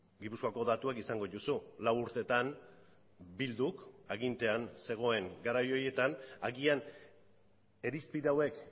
gipuzkoako datuak izango dituzu lau urtetan bilduk agintean zegoen garai horietan agian irizpide hauek